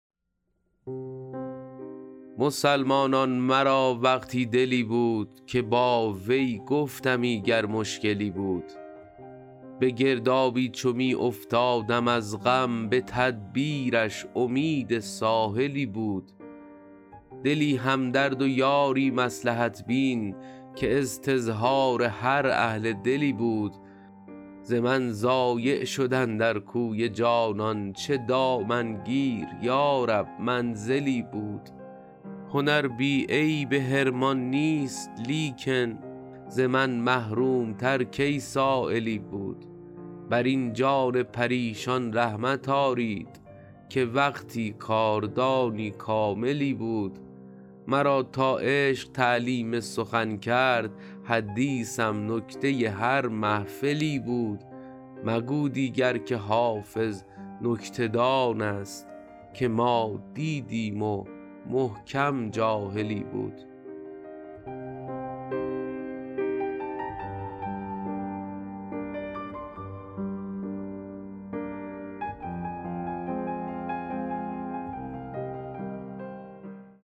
مسلمانان مرا وقتی دلی بود که با وی گفتمی گر مشکلی بود به گردابی چو می افتادم از غم به تدبیرش امید ساحلی بود دلی همدرد و یاری مصلحت بین که استظهار هر اهل دلی بود ز من ضایع شد اندر کوی جانان چه دامنگیر یا رب منزلی بود هنر بی عیب حرمان نیست لیکن ز من محروم تر کی سایلی بود بر این جان پریشان رحمت آرید که وقتی کاردانی کاملی بود مرا تا عشق تعلیم سخن کرد حدیثم نکته هر محفلی بود مگو دیگر که حافظ نکته دان است که ما دیدیم و محکم جاهلی بود